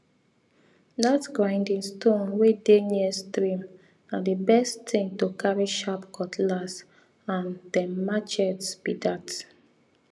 that grinding stone wey dey near stream na the best thing to carry sharp cutlass and dem machets be that